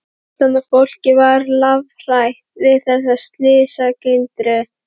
Fullorðna fólkið var lafhrætt við þessa slysagildru.